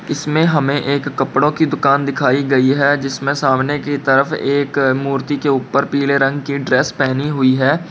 इसमें हमें एक कपड़ों की दुकान दिखाई गई है जिसमें सामने की तरफ एक मूर्ति के ऊपर पीले रंग की ड्रेस पहनी हुई है।